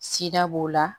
Sida b'o la